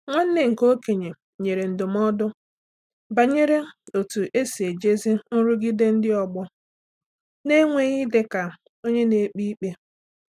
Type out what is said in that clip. Nwanne nke okenye nyere ndụmọdụ banyere otú e si ejizi nrụgide ndị ọgbọ na-enweghị ịdị ka onye na-ekpe ikpe.